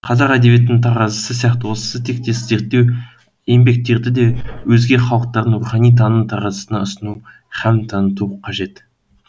қазақ әдебиетінің таразысы сияқты осы тектес зерттеу еңбектерді де өзге халықтардың рухани таным таразысына ұсыну һәм таныту қажет